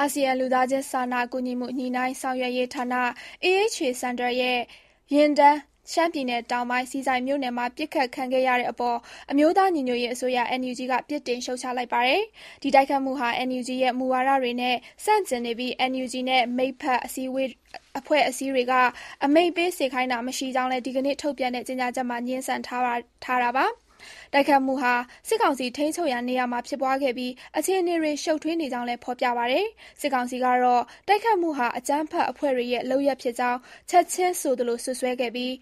အာဆီယံလူသားချင်းစာနာကူညီမှုညှိုနှိုင်းဆောင်ရွက်ရေးဌာန AHA Center ရဲ့ ယာဉ်တန်း ရှမ်းပြည်နယ်တောင်ပိုင်း၊ ဆီဆိုင်မြို့နယ်မှာ ပစ်ခတ်ခံခဲ့ရတဲ့အပေါ် အမျိုးသားညီညွတ်ရေးအစိုးရ (NUG) က ပြစ်တင်ရှုတ်ချလိုက်ပါတယ်။ တိုက်ခိုက်မှုဟာ NUG ရဲ့ မူဝါဒတွေနဲ့ ဆန့်ကျင်နေပြီး၊ NUG နဲ့ မိတ်ဖက် အဖွဲ့အစည်းတွေက အမိန့်ပေး စေခိုင်းတာမရှိကြောင်းလည်း ဒီကနေ့ ထုတ်ပြန်တဲ့ ကြေညာချက်မှာ ငြင်းဆန်ထားတာပါ။ တိုက်ခိုက်မှုဟာ စစ်ကောင်စီ ထိန်းချုပ်ရာနေရာမှာ ဖြစ်ပွားခဲ့ပြီး အခြေအနေတွေ ရှုတ်ထွေးနေကြောင်းလည်း ဖော်ပြပါတယ်။ စစ်ကောင်စီကတော့ တိုက်ခိုက်မှုဟာ အကြမ်းဖက်အဖွဲ့တွေရဲ့ လုပ်ရပ်ဖြစ်ကြောင်း ချက်ခြင်းဆိုသလို စွပ်စွဲခဲ့ပြီး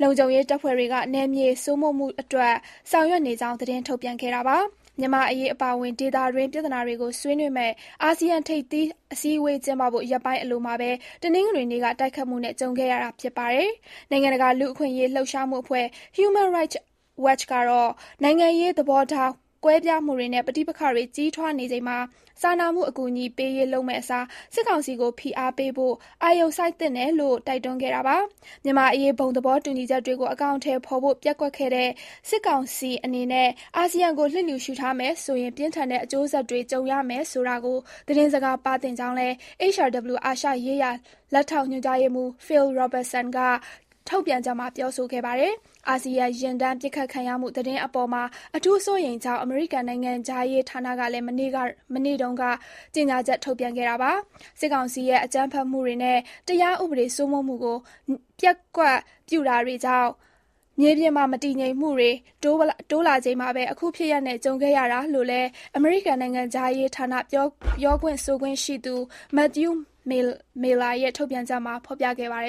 ၊ လုံခြုံရေးတပ်ဖွဲ့တွေက နယ်မြေစိုးမိုးရေးအတွက် ဆောင်ရွက်နေကြောင်း သတင်းထုတ်ပြန်ခဲ့တာပါ။ မြန်မာ့အရေး အပါအဝင် ဒေသတွင်း ပြဿနာတွေကိုဆွေးနွေးမယ့် အာဆီယံထိပ်သီးအစည်းအဝေး ကျင်းပဖို့ ရက်ပိုင်းအလိုမှာပဲ တနင်္ဂနွေနေ့က တိုက်ခိုက်မှုနဲ့ ကြုံခဲ့ရတာ ဖြစ်ပါတယ်။ နိုင်ငံတကာ လူ့အခွင့်အရေး လှုပ်ရှားမှုအဖွဲ့ Human Rights Watch ကတော့ နိုင်ငံရေး သဘောထား ကွဲပြားမှုတွေနဲ့ ပဋိပက္ခတွေ ကြီးထွားနေချိန်မှာ စာနာမှုအကူအညီပေးရေး လုပ်မယ့်အစား စစ်ကောင်စီကို ဖိအားပေးဖို့ အာရုံစိုက်သင့်တယ်လို့ တိုက်တွန်းခဲ့တာပါ။ မြန်မာ့အရေး ဘုံသဘောတူညီချက်တွေကို အကောင်အထည်ဖော်ဖို့ ပျက်ကွက်တဲ့ စစ်ကောင်စီ အနေနဲ့ အာဆီယံကို လျစ်လျူရှုထားမယ်ဆိုရင် ပြင်းထန်တဲ့ အကျိုးဆက်တွေ ကြုံရမယ်ဆိုတာကို သတင်းစကား ပါးသင့်ကြောင်းလည်း HRW အာရှရေးရာ လက်ထောက်ညွှန်ကြားရေးမှူး Phil Robertson ကထုတ်ပြန်ချက်မှာ ပြောဆိုခဲ့ပါတယ်။ အာဆီယံယာဉ်တန်း ပစ်ခတ်ခံရမှုသတင်းအပေါ်မှာ အထူးစိုးရိမ်ကြောင်း အမေရိကန် နိုင်ငံခြားရေးဌာနကလည်း မနေ့တုန်းကပဲ ကြေညာချက် ထုတ်ပြန်ခဲ့တာပါ။ စစ်ကောင်စီရဲ့အကြမ်းဖက်မှုတွေနဲ့ တရားဥပဒေစိုးမိုးမှုကို မျက်ကွယ်ပြုတာတွေကြောင့် မြေပြင်မှာ မတည်ငြိမ်မှုတွေ တိုးလာချိန်မှာပဲ အခုဖြစ်ရပ်နဲ့ ကြုံခဲ့ရတာလို့လည်း အမေရိကန်နိုင်ငံခြားရေးဌာန ပြောခွင့်ဆိုခွင့်ရှိသူ Matthew Miller ရဲ့ ထုတ်ပြန်ချက်မှာ ဖော်ပြခဲ့ပါတယ်